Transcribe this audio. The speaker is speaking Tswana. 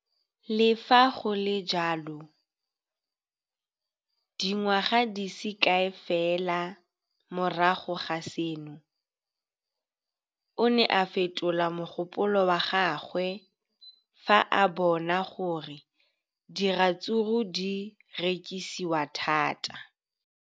Le fa go le jalo, dingwaga di se kae fela morago ga seno, o ne a fetola mogopolo wa gagwe fa a bona gore diratsuru di rekisiwa thata.